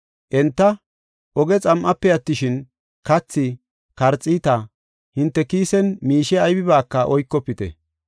Enta, “Oge xam7afe attishin, kathi, karxiita, hinte kiisen miishe aybibaaka oykofite.